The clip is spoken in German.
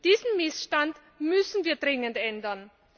Diesen Missstand müssen wir dringend ändern.